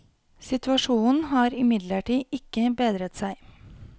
Situasjonen har imidlertid ikke bedret seg.